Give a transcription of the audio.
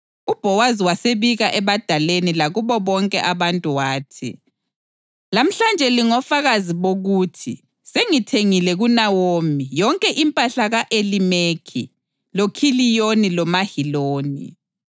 UBhowazi wasebika ebadaleni lakubo bonke abantu wathi, “Lamhlanje lingofakazi bokuthi sengithengile kuNawomi yonke impahla ka-Elimeleki, loKhiliyoni loMaheloni.